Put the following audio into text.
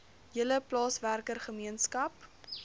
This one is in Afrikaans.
hele plaaswerker gemeenskap